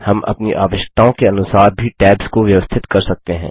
हम अपनी आवश्यकताओं के अनुसार भी टैब्स को व्यवस्थित कर सकते हैं